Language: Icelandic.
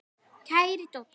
Kæri Doddi.